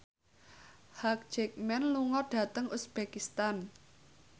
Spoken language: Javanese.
Hugh Jackman lunga dhateng uzbekistan